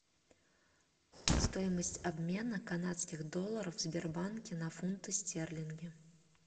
стоимость обмена канадских долларов в сбербанке на фунты стерлинги